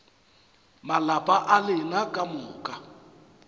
malapa a lena ka moka